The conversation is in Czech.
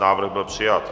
Návrh byl přijat.